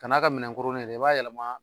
Kan'a kɛ minɛn koronnen ye dɛ, i b'a yɛlɛmaa